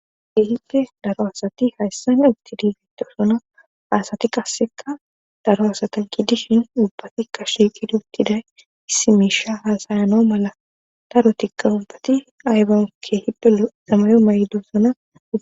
Kehippe daro asati qaseka utidi betosona haasati qasseka daro asatan kidishin ubbatikka shiiqidi uttiday issimiisha haasayano mala darotikka ubbati aybanke hipe zamayo may7dosona